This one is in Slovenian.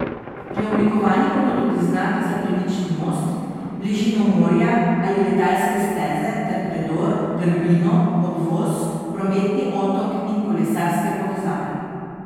Preoblikovani bodo tudi znaki za premični most, bližino morja ali letalske steze ter predor, grbino, obvoz, prometni otok in kolesarske povezave.